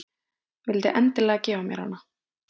Vildi endilega gefa mér hana.